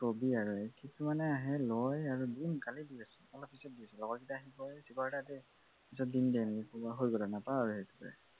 কি কবি আৰু কিছুমানে আহে লয় সোনকালে দি আছোঁ অলপ পিছত দি আছোঁ লগৰকেইটা আহি কয় ঐ শিখৰ এটা দে পিছত দিম দে হৈ গল আৰু নাপাওঁ আৰু সেইটো